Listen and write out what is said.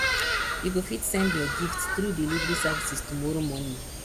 you go fit send your gifts through delivery services tomorrow morning